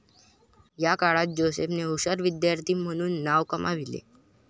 या काळात जोसेफने हुशार विद्यार्थी म्हणून नाव कमाविले.